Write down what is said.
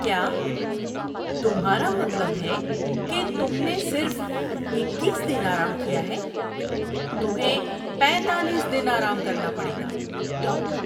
کیا تمہارا مطلب ہے کہ تم نے صرف اکیس دن آرام کیا ہے؟ تمہیں پینتالیس دن آرام کرنا پڑے گا۔ (ڈاکٹر)